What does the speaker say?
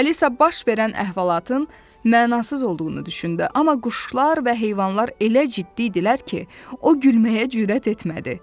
Alisa baş verən əhvalatın mənasız olduğunu düşündü, amma quşlar və heyvanlar elə ciddi idilər ki, o gülməyə cürət etmədi.